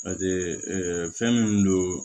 Paseke ɛɛ fɛn min don